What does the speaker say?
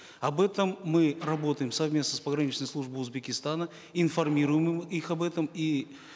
об этом мы работаем совместно с пограничной службой узбекистана информируем их об этом и